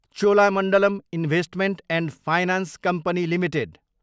Cholamandalam investment and finance company limited